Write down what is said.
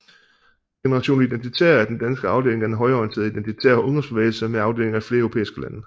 Generation Identitær er den danske afdeling af den højreorienterede identitære ungdomsbevægelse med afdelinger i flere europæiske lande